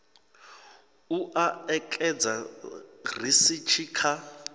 u o ekedza risithi kha